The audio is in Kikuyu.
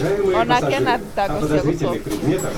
Onake ena thitango cia gũcokia